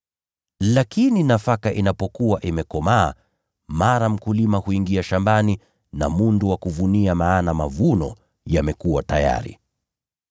Lakini nafaka inapokuwa imekomaa, mara mkulima huingia shambani na mundu wa kuvunia, maana mavuno yamekuwa tayari.”